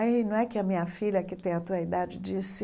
Aí, não é que a minha filha, que tem a sua idade, disse,